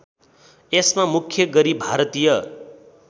यसमा मुख्य गरी भारतीय